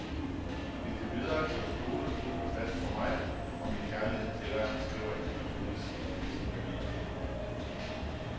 Indtil videre kan du stole fuldt og fast på mig og min kærlighed til dig, skriver en pensionist til sin veninde.